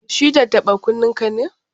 Shi tattaɓa-kunnenka ne?